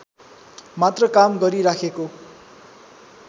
मात्र काम गरिराखेको